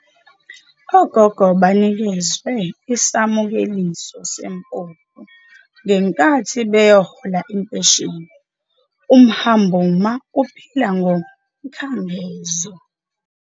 Ogogo banikezwe isamukeliso sempuphu ngenkathi beyohola impesheni. umhambuma uphila ngomkhangezo